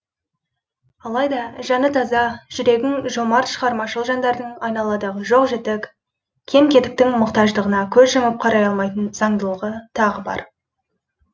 алайда жаны таза жүрегің жомарт шығармашыл жандардың айналадағыжоқ жітік кем кетіктің мұқтаждығына көз жұмып қарай алмайтын заңдылығы тағы бар